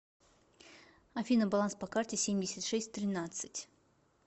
афина баланс по карте семьдесят шесть тринадцать